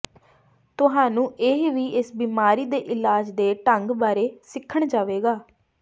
ਤੁਹਾਨੂੰ ਇਹ ਵੀ ਇਸ ਬਿਮਾਰੀ ਦੇ ਇਲਾਜ ਦੇ ਢੰਗ ਬਾਰੇ ਸਿੱਖਣ ਜਾਵੇਗਾ